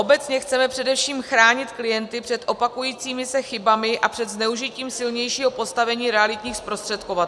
Obecně chceme především chránit klienty před opakujícími se chybami a před zneužitím silnějšího postavení realitních zprostředkovatelů.